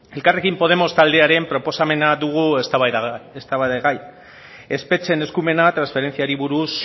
elkarrekin podemos taldearen proposamena dugu eztabaidagai espetxeen eskumena transferentziari buruz